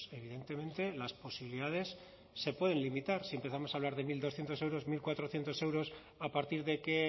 pues evidentemente las posibilidades se pueden limitar si empezamos a hablar de mil doscientos euros mil cuatrocientos euros a partir de qué